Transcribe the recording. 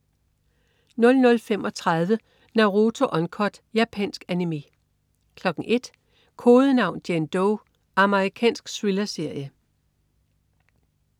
00.35 Naruto Uncut. Japansk Animé 01.00 Kodenavn: Jane Doe. Amerikansk thrillerserie